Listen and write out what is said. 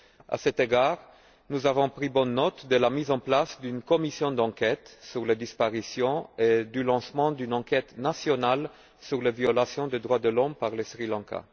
À cet égard, nous avons pris bonne note de la mise en place d'une commission d'enquête sur les disparitions et du lancement d'une enquête nationale sur les violations des droits de l'homme par le Sri Lanka.